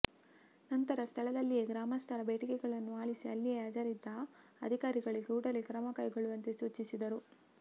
ನಂತರ ಸ್ಥಳದಲ್ಲಿಯೇ ಗ್ರಾಮಸ್ಥರ ಬೇಡಿಕೆಗಳನ್ನು ಆಲಿಸಿ ಅಲ್ಲಿಯೇ ಹಾಜರಿದ್ದ ಅಧಿಕಾರಿಗಳಿಗೆ ಕೂಡಲೇ ಕ್ರಮ ಕೈಗೊಳ್ಳುವಂತೆ ಸೂಚಿಸಿದರು